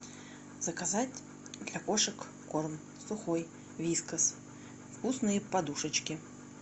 заказать для кошек корм сухой вискас вкусные подушечки